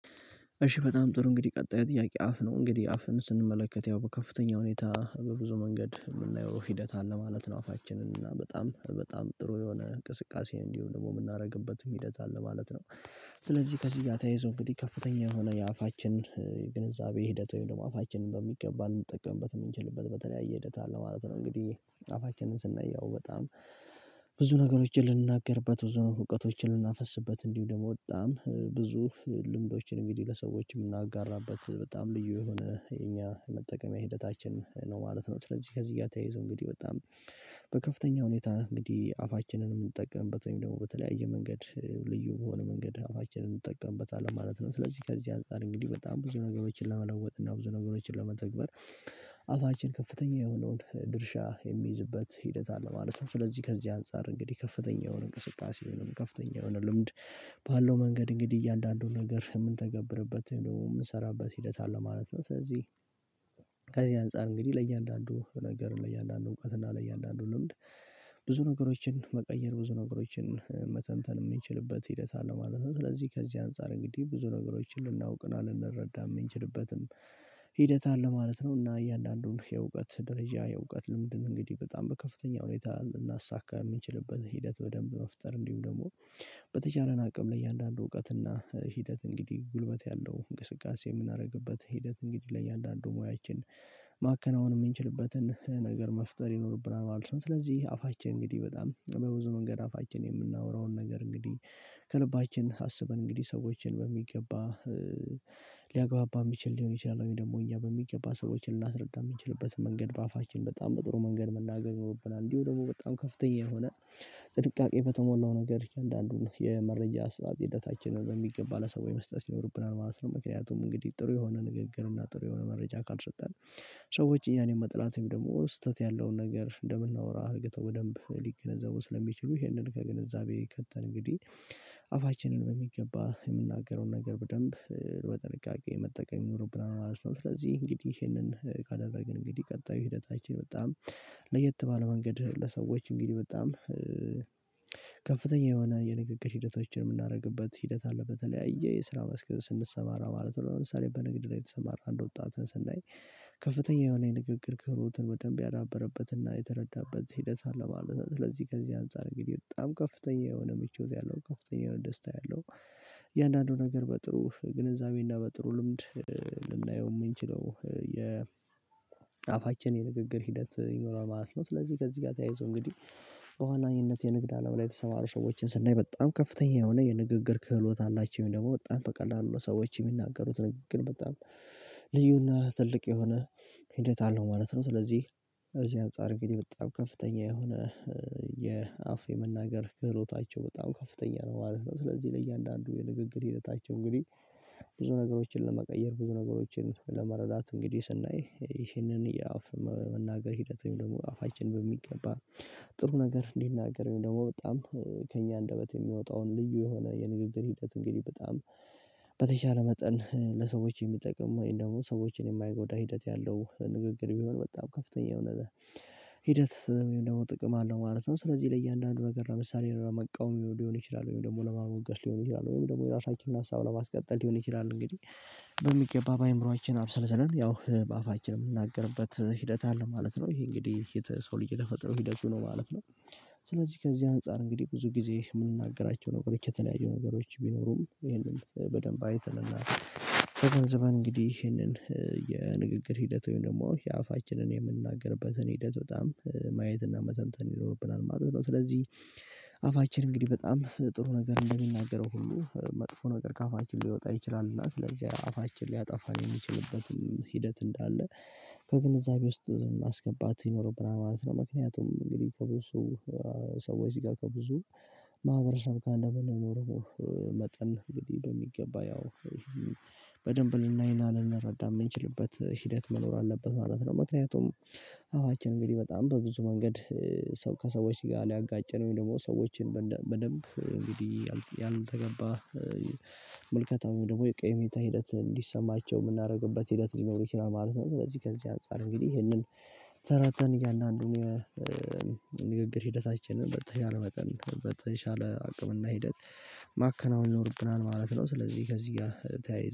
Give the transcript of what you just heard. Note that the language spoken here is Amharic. እሺ በጣም ጥሩ እንግዲህ ቀጣይ ጥያቄ አፍ ነው እንግዲህ አፍን ስንመለከት ያው በከፍተኛ ሁኔታ በብዙ መንገድ የምናየው ሂደት አለ ማለት ነው አፋችንን እና በጣም ጥሩ የሆነ እንቅስቃሴ እንዲሁ ደግሞ የምናደርግበትም ሂደት አለ ማለት ነው። ስለዚህ ከዚህ ጋር ተያይዞ እንግዲህ ከፍተኛ የሆነ የአፋችን ግንዛቤ ሂደት ወይም ደግሞ አፋችንን በሚገባ ልንጠቀምበት የምንችልበት በተለያየ ሂደት አለ ማለት ነው። እንግዲህ አፋችንን ስናየው በጣም ብዙ ነገሮችን ልንናገርበት ብዙ ነገሮችን ልናፈስበት እንዲሁ ደግሞ በጣም ብዙ ልምዶችን እንግዲህ ለሰዎች የምናጋራበት በጣም ልዩ የሆነ የኛ መጠቀምያ ሂደታችን ነው ማለት ነው። ስለዚህ ከዚህ ጋር ተያይዞ እንግዲህ በጣም በከፍተኛ ሁኔታ እንግዲህ አፋችንን የምንጠቀምበት ወይም ደግሞ በተለያየ መንገድ ልዩ በሆነ መንገድ አፋችንን እንጠቀምበታለን ማለት ነው። ስለዚህ ከዚህ አንፃር እንግዲህ በጣም ብዙ ነገሮችን ለመለወጥ እና ብዙ ነገሮችን ለመተግበር አፋችን ከፍተኛ የሆነውን ድርሻ የሚይዝበት ሂደት አለ ማለት ነው። ስለዚህ ከዚህ አንፃር እንግዲህ ከፍተኛ የሆነ እንቅስቃሴ የሆነ ከፍተኛ የሆነ ልምድ ባለው መንገድ እንግዲህ እያንዳንዱን ነገር የምንተገብርበት ወይም ደግሞ የምንሰራበት ሂደት አለ ማለት ነው። ስለዚህ ከዚህ አንፃር እንግዲህ ለእያንዳንዱ ነገር ለእያንዳንዱ እውቀት እና ለእያንዳንዱ ልምድ ብዙ ነገሮችን መቀየር ብዙ ነገሮችን መተንተን የምንችልበት ሂደት አለ ማለት ነው። ስለዚህ ከዚህ አንፃር እንግዲህ ብዙ ነገሮችን ልናውቅ እና ልንረዳም የምንችልበትም ሂደት አለ ማለት ነው። እና እያንዳንዱን የእውቀት ደረጃ የእውቀት ልምድም እንግዲህ በጣም በከፍተኛ ሁኔታ ልናሳካ የምንችልበት ሂደት በደንብ መፍጠር እንዲሁም ደግሞ በተቻለን አቅም ለእያንዳንዱ እውቀት እና ሂደት እንግዲህ ጉልበት ያለው እንቅስቃሴ የምናደርግበት ሂደት እንግዲህ ለእያንዳንዱ ሞያችን ማከናወን የምንችልበትን ነገር መፍጠር ይኖርብናል ማለት ነው። ስለዚህ አፋችን እንግዲህ በጣም በብዙ መንገድ አፋችን የምናወራውን ነገር እንግዲህ ከልባችን አስበን እንግዲህ ሰዎችን በሚገባ ሊያግባባ የሚችል ሊሆን ይችላል ወይ ደግሞ እኛ በሚገባ ሰዎችን ልናስረዳ የምንችልበት መንገድ በአፋችን በጣም በጥሩ መንገድ መናገር ይኖርብናል እንዲሁ ደግሞ በጣም ከፍተኛ የሆነ ጥንቃቄ በተሞላው ነገር እያንዳንዱን የመረጃ አሰጣጥ ሂደታችንን በሚገባ ለሰው የመስጠት ይኖርብናል ማለት ነው። ምክንያቱም እንግዲህ ጥሩ የሆነ ንግግር እና ጥሩ የሆነ መረጃ ካልሰጠን ሰዎች እኛን የመጣላት ወይ ደግሞ ስህተት ያለውን ነገር እንደምናወራ አድርገው በደንብ ሊገነዘቡ ስለሚችሉ ይህንን ከግንዛቤ ከተን እንግዲህ አፋችንን በሚገባ የምናገረውን ነገር በደንብ በጥንቃቄ መጠቀም ይኖርብናል ማለት ነው። ስለዚህ እንግዲህ ይሄንን ካደረግን እንግዲህ ቀጣዩ ሂደታችን በጣም ለየት ባለ መንገድ ለሰዎች እንግዲህ በጣም ከፍተኛ የሆነ የንግግር ሂደቶችን የምናረግበት ሂደት አለ በተለያየ የስራ መስክ ስንሰማራ ማለት ነው። ለምሳሌ በንግድ ላይ የተሰማራ አንድ ወጣት ስናኝ ከፍተኛ የሆነ የንግግር ክህሎትን በደንብ ያዳበረበትና የተረዳበት ሂደት አለ ማለት ነው። ስለዚህ ከዚህ አንፃር እንግዲህ በጣም ከፍተኛ የሆነ ምቾት ያለው ከፍተኛ የሆነ ደስታ ያለው እያንዳንዱ ነገር በጥሩ ግንዛቤና በጥሩ ልምድ ልናየው የምንችለው የ አፋችን የንግግር ሂደት ይኖራል ማለት ነው። ስለዚህ ከዚህ ጋር ተያይዞ እንግዲህ በዋናኝነት የንግድ አለም ላይ የተሰማሩ ሰዎችን ስናይ በጣም ከፍተኛ የሆነ የንግግር ክህሎት አላቸው ወይም ደግሞ በጣም በቀላሉ ለሰዎች የሚናገሩት ንግግር በጣም ልዩና ትልቅ የሆነ ሂደት አለው ማለት ነው። ስለዚህ ከዚህ አንፃር እንግዲህ በጣም ከፍተኛ የሆነ የአፍ የመናገር ክህሎታቸው በጣም ከፍተኛ ነው ማለት ነው። ስለዚህ ለእያንዳንዱ የንግግር ሂደታቸው እንግዲህ ብዙ ነገሮችን ለመቀየር ብዙ ነገሮችን ለመረዳት እንግዲህ ስናይ ይሄንን የአፍ መናገር ሂደት ወይም ደግሞ አፋችን በሚገባ ጥሩ ነገር ሊናገር ወይም ደግሞ በጣም ከእኛ አንደበት የሚወጣውን ልዩ የሆነ የንግግር ሂደት እንግዲህ በጣም በተቻለ መጠን ለሰዎች የሚጠቅም ወይም ደግሞ ሰዎችን የማይጎዳ ሂደት ያለው ንግግር ቢሆን በጣም ከፍተኛ የሆነ ሂደት ወይም ደግሞ ጥቅም አለው ማለት ነው። ስለዚህ ለእያንዳንዱ ነገር ለምሳሌ ለመቃወም ሊሆን ይችላል ወይም ደግሞ ለማሞገስ ሊሆን ይችላል ወይም ደግሞ የራሳችንን ሀሳብ ለማስቀጠል ሊሆን ይችላል እንግዲህ በሚገባ በአእምሮአችን አብሰልስለን ያው በአፋችን የምናገርበት ሂደት አለ ማለት ነው። ይሄ እንግዲህ ሰው ልጅ ተፈጥሮ ሂደቱ ነው ማለት ነው። ስለዚህ ከዚህ አንፃር እንግዲህ ብዙ ጊዜ የምንናገራቸው ነገሮች የተለያዩ ነገሮች ቢኖሩም ይሄንን በደንብ አይተንና ተገንዝበን እንግዲህ ይህንን የንግግር ሂደት ወይም ደግሞ የአፋችንን የምንናገርበትን ሂደት በጣም ማየትና መተንተን ይኖርብናል ማለት ነው። ስለዚህ አፋችን እንግዲህ በጣም ጥሩ ነገር እንደሚናገረው ሁሉ መጥፎ ነገር ከአፋችን ሊወጣ ይችላል እና ስለዚህ አፋችን ሊያጠፋን የሚችልበትም ሂደት እንዳለ ከግንዛቤ ውስጥ ማስገባት ይኖርብናል ማለት ነው። ምክንያቱም እንግዲህ ከብዙ ሰዎች ጋር ከብዙ ማህበረሰብ ጋር እንደምንኖረው መጠን እንግዲህ በሚገባ ያው በደንብ ልናይና ልንረዳ የምንችልበት ሂደት መኖር አለበት ማለት ነው። ምክንያቱም አፋችን እንግዲህ በጣም በብዙ መንገድ ሰው ከሰዎች ጋር ሊያጋጨን ወይ ደግሞ ሰዎችን በደንብ እንግዲህ ያልተገባ ምልከታ ወይም ደግሞ የቀይ ሜታ ሂደት እንዲሰማቸው የምናደርግበት ሂደት ሊኖር ይችላል ማለት ነው። ስለዚህ ከዚህ አንፃር እንግዲህ ይሄንን ተረድተን እያንዳንዱን የንግግር ሂደታችንን በተሻለ መጠን በተሻለ አቅምና ሂደት ማከናወን ይኖርብናል ማለት ነው። ስለዚህ ከዚህ ጋር ተያይዞ